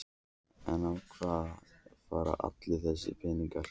En í hvað fara allir þessir peningar?